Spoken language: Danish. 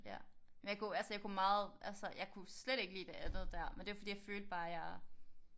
Ja. Men jeg kunne altså jeg kunne meget altså jeg kunne slet ikke lide det andet der men det var bare fordi jeg følte bare jeg var